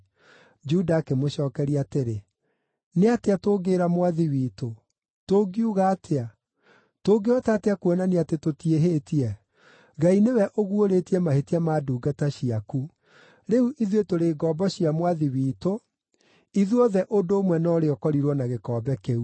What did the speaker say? Juda akĩmũcookeria atĩrĩ, “Nĩ atĩa tũngĩĩra mwathi witũ? Tũngiuga atĩa? Tũngĩhota atĩa kuonania atĩ tũtiĩhĩtie? Ngai nĩwe ũguũrĩtie mahĩtia ma ndungata ciaku. Rĩu ithuĩ tũrĩ ngombo cia mwathi witũ, ithuothe ũndũ ũmwe na ũrĩa ũkorirwo na gĩkombe kĩu.”